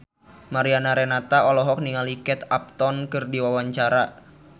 Mariana Renata olohok ningali Kate Upton keur diwawancara